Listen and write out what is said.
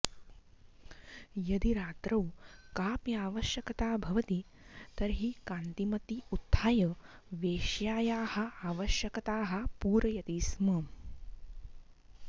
यदि रात्रौ कापि आवश्यकता भवति तर्हि कान्तिमती उत्थाय वेश्यायाः आवश्यकताः पूरयति स्म